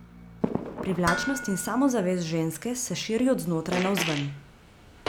Privlačnost in samozavest ženske se širi od znotraj navzven.